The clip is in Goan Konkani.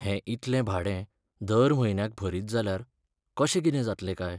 हें इतलें भाडें दर म्हयन्याक भरीत जाल्यार कशें कितें जातलें काय!